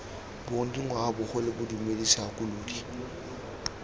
bong dingwaga bogole bodumedi segakolodi